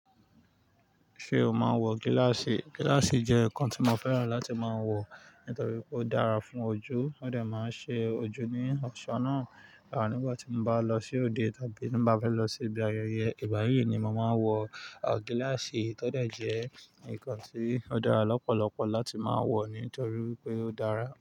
Ṣé o máa ń wọ gíláàsì? Gíláàsì jẹ́ nǹkan tí mo fẹ́ràn láti máa wọ nítorí pé ó dára fún ojú, ó de máa ń ṣe ojú ní ọ̀ṣọ́ náà. Nígbà tí mo bá lọ sí òde tàbí ti n ba fẹ́ lọ si ibi ayẹyẹ ìgbayii ni mo máa ń wọ gíláàsì, tódẹ̀ jẹ́ ǹkan tí ó dára lọ́pọ̀lọpọ̀ láti máa ń wọ̀ nítorí pé ó dára.